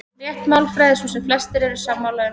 Rétt málfræði er sú sem flestir eru sammála um.